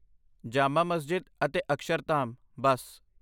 ਜਾਮਾ ਮਸਜਿਦ ਅਤੇ ਅਕਸ਼ਰਧਾਮ , ਬਸ